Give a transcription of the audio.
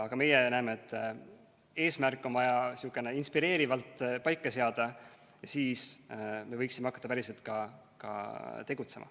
Aga meie näeme, et eesmärk on vaja inspireerivalt paika seada, siis me võiksime hakata ka päriselt tegutsema.